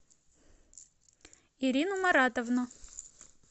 ирину маратовну